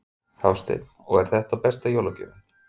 Hafsteinn: Og er þetta besta jólagjöfin?